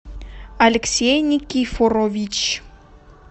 алексей никифорович